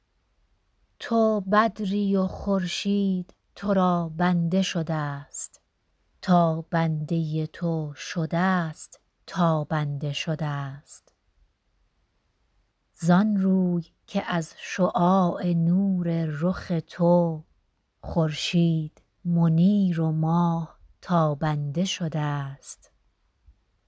تو بدری و خورشید تو را بنده شده ست تا بنده تو شده ست تابنده شده ست زان روی که از شعاع نور رخ تو خورشید منیر و ماه تابنده شده ست